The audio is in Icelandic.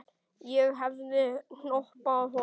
Ég hefði hoppað upp.